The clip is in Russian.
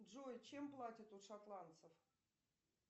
джой чем платят у шотландцев